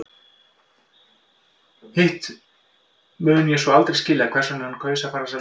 Hitt mun ég svo aldrei skilja hvers vegna hann kaus að fara þessa leið.